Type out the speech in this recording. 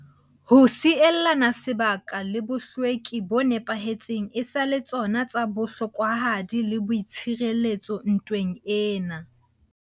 Ho sielana sebaka le bohlweki bo nepahetseng e sa le tsona tsa bohlokwahadi le boitshireletso ntweng ena.